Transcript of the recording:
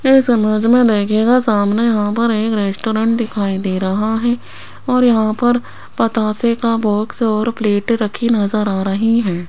इस इमेज में देखिएगा सामने यहां पर एक रेस्टोरेंट दिखाई दे रहा है और यहां पर बतासे का बॉक्स और प्लेट रखी नजर आ रही है।